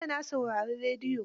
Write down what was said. Jiya na saurari rediyo.